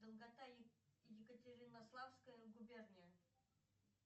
долгота екатеринославская губерния